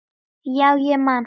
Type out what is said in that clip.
Já, ég man það.